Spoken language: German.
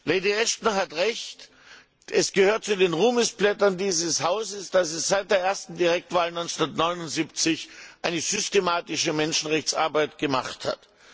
Lady Ashton hat Recht Es gehört zu den Ruhmesblättern dieses Hauses, dass es seit der ersten Direktwahl 1979 eine systematische Menschenrechtsarbeit gemacht hat.